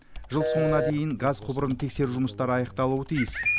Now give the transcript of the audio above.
жыл соңына дейін газ құбырын тексеру жұмыстары аяқталуы тиіс